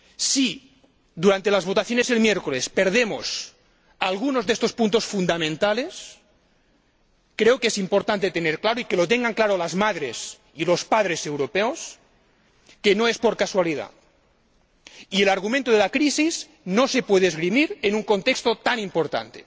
Si durante las votaciones del miércoles perdemos algunos de estos puntos fundamentales, creo que es importante tener claro y que lo tengan claro las madres y los padres europeos, que no es por casualidad, y el argumento de la crisis no se puede esgrimir en un contexto tan importante.